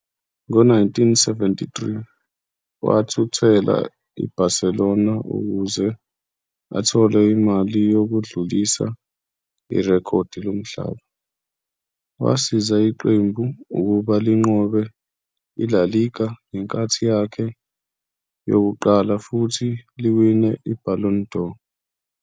Ngo-1973, wathuthela IBarcelona ukuze athole Imali yokudlulisa irekhodi lomhlaba, wasiza iqembu ukuba linqobe i-La Liga ngenkathi yakhe yokuqala futhi liwine i-Ballon d'Or.